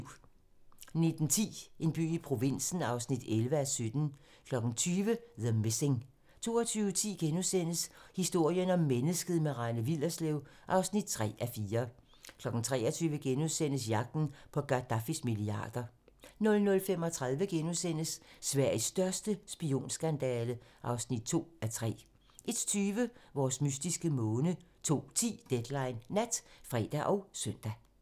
19:10: En by i provinsen (11:17) 20:00: The Missing 22:10: Historien om mennesket - med Rane Willerslev (3:4)* 23:00: Jagten på Gadaffis milliarder * 00:35: Sveriges største spionskandale (2:3)* 01:20: Vores mystiske måne 02:10: Deadline Nat (fre og søn)